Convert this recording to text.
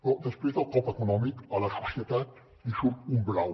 però després del cop econòmic a la societat li surt un blau